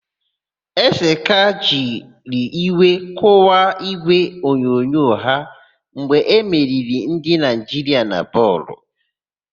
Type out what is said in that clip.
Ezeka jiri iwe kụwaa ígwèonyonyo ya mgbe emeriri ndị Naịjiria na bọọlụ.